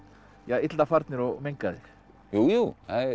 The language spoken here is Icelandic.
illa farnir og mengaðir jú jú